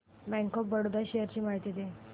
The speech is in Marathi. बँक ऑफ बरोडा शेअर्स ची माहिती दे